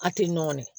A tɛ nɔgɔn dɛ